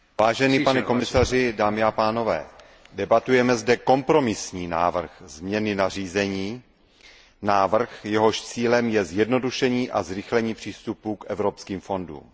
Vážený pane komisaři, dámy a pánové, debatujeme zde o kompromisním návrhu změny nařízení, návrhu, jehož cílem je zjednodušení a zrychlení přístupu k evropským fondům.